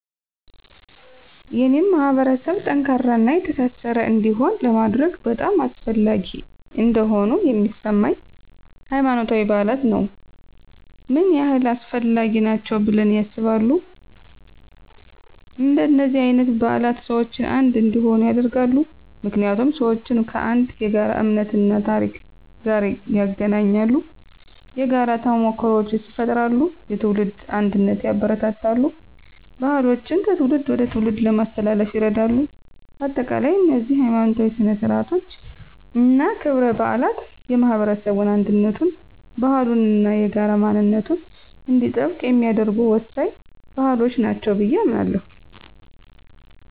የኔን ማህበረሰብ ጠንካራና የተሳሰረ እንዲሆን ለማድረግ በጣም አስፈላጊ እንደሆኑ የሚሰማኝ፦ ** ሃይማኖታዊ በዓላት ነው **ምን ያህል አስፈላጊ ናቸው ብለው ያስባሉ? እንደነዚህ አይነት በዓላት ሰዎችን አንድ እንዲሆኑ ያደርጋሉ። ምክንያቱም ሰዎችን ከአንድ የጋራ እምነት እና ታሪክ ጋር ያገናኛሉ። የጋራ ተሞክሮዎችን ይፈጥራሉ፣ የትውልድ አንድነትን ያበረታታሉ፣ ባህሎችን ከትውልድ ወደ ትውልድ ለማስተላለፍ ይረዳሉ። በአጠቃላይ፣ እነዚህ ሀይማኖታዊ ሥነ ሥርዓቶች እና ክብረ በዓላት የማህበረሰቡን አንድነቱን፣ ባህሉን እና የጋራ ማንነቱን እንዲጠብቅ የሚያደርጉ ወሳኝ ባህሎች ናቸው ብየ አምናለሁ።